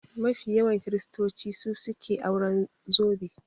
Mafi yawan kiristoci su suke auren zobe